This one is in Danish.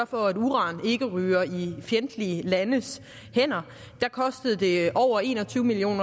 for at uran ikke ryger i fjendtlige landes hænder koster det over en og tyve million